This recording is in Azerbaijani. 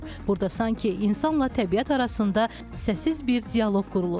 Burda sanki insanla təbiət arasında səssiz bir dialoq qurulur.